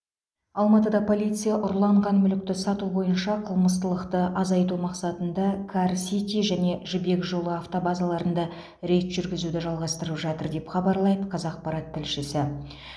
алматыда полиция ұрланған мүлікті сату бойынша қылмыстылықты азайту мақсатында кар сити және жібек жолы автобазарларында рейд жүргізуді жалғастырып жатыр деп хабарлайды қазақпарат тілшісі